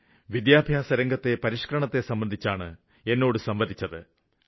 ഇന്ല് വിദ്യാഭ്യാസരംഗത്തെ പരിഷ്ക്കരണത്തെ സംബന്ധിച്ചാണ് എന്നോട് സംവദിച്ചത്